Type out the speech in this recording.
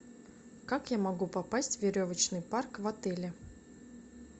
как я могу попасть в веревочный парк в отеле